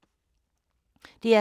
DR K